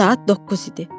Saat 9 idi.